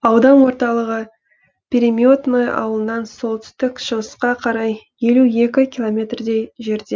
аудан орталығы переметное ауылынан солтүстік шығысқа қарай елу екі километрдей жерде